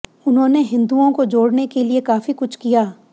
उन्होंने हिंदुओं को जोड़ने के लिए काफी कुछ किया